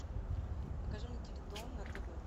покажи мне теледом на тв